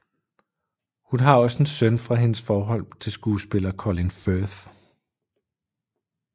Hun har også en søn fra hendes forhold til skuespiller Colin Firth